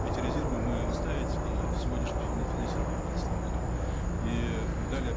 эти резервы мы настаивать и сегодняшнее финансирование девятнадцатом году и далее